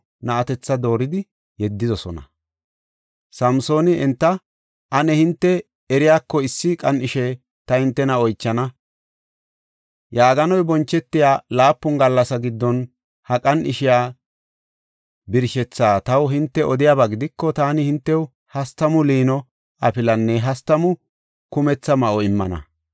Samsooni enta, “Ane hinte eriyako issi qan77ishe ta hintena oychana. Yaaganoy bonchetiya laapun gallasa giddon ha qan7ishiya birshethaa taw hinte odiyaba gidiko taani hintew hastamu liino afilanne hastamu kumetha ma7o immana.